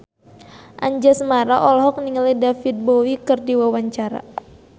Anjasmara olohok ningali David Bowie keur diwawancara